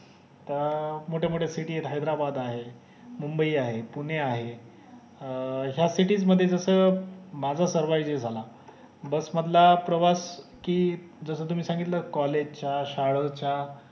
त अं मोठे मोठे city हे हैद्राबाद आहे मुम्बई आहे पुणे आहे अह ह्या city मध्ये मजा सरवायु झाला बस मधला प्रवास कि जस तुम्ही सांगितले कि collage च्या शाळेच्या